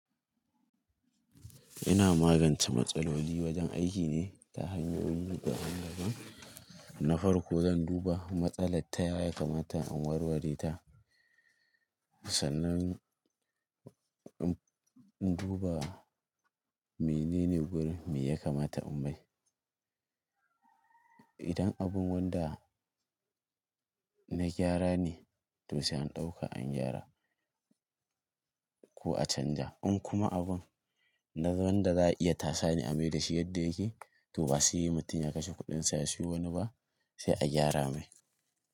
Ina magance matsaloli wajen aiki ne ta hanyoyi da ban daban. Na farko zan duba matsalar ta yaya ya kamata in warware ta. Sanan in duba menene gurin me ya kamata in mai. Idan abun wanda na gyara ne, to sai an ɗauka an gyara ko a canja. In kuma abun na wanda za a iya tasa ni amai da shi yadda yake, to ba su yi mutum ya kashe kuɗin sa ya siyo wani ba, sai a gyara mai.